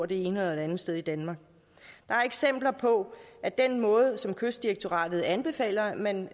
det ene eller andet sted i danmark der er eksempler på at den måde som kystdirektoratet anbefaler at man